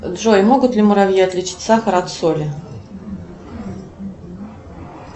джой могут ли муравьи отличить сахар от соли